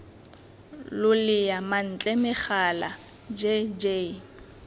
lolea mantle megala j j